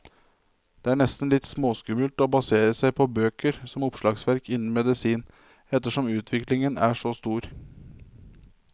Det er nesten litt småskummelt å basere seg på bøker som oppslagsverk innen medisin, ettersom utviklingen er så stor.